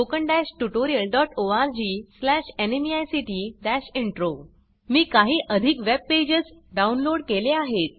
httpspoken tutorialorgNMEICT Intro मी काही अधिक वेब पेजस डाउनलोड केले आहेत